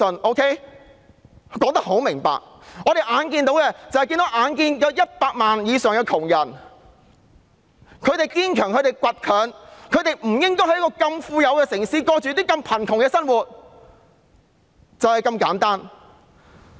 我已說得很明白，社會上那超過100萬堅強而倔強的貧苦大眾，實不應在如此富裕的城市過着這麼貧窮的生活，就是這麼簡單。